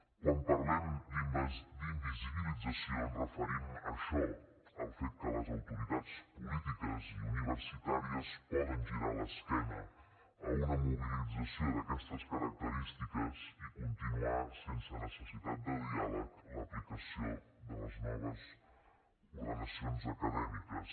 quan parlem d’invisibilització ens referim a això al fet que les autoritats polítiques i universitàries poden girar l’esquena a una mobilització d’aquestes característiques i continuar sense necessitat de diàleg l’aplicació de les noves ordenacions acadèmiques